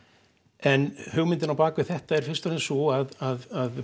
en hugmyndin á bak við þetta er fyrst og fremst sú að